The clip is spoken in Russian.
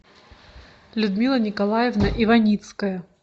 людмила николаевна иваницкая